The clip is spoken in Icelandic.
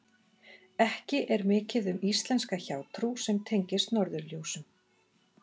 Ekki er mikið um íslenska hjátrú sem tengist norðurljósum.